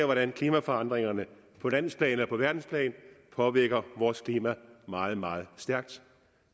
hvordan klimaforandringerne på landsplan og på verdensplan påvirker vores klima meget meget stærkt